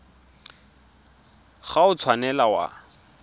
ga o a tshwanela wa